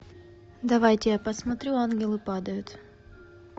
давайте я посмотрю ангелы падают